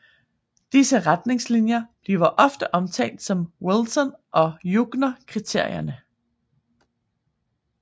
Disse retningslinjer bliver ofte omtalt som Wilson og Jungner Kriterierne